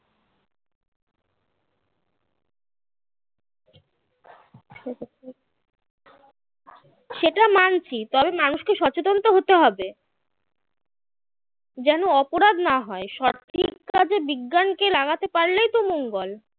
সেটা মানছি তবে মানুষকে সচেতন তো হতে হবে যেন অপরাধ না হয় সঠিক কাজে বিজ্ঞানকে লাগাতে পারলেই তো মঙ্গল